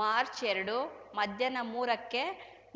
ಮಾರ್ಚ್ಎರಡು ಮಧ್ಯಾಹ ಮೂರಕ್ಕೆ